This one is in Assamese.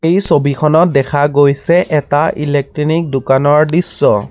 এই ছবিখনত দেখা গৈছে এটা ইলেকট্ৰিনিক দোকানৰ দৃশ্য।